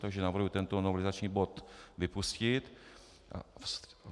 Takže navrhuji tento novelizační bod vypustit.